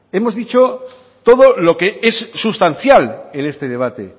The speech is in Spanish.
hemos dicho todo lo que es sustancial en este debate